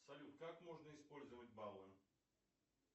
салют как можно использовать баллы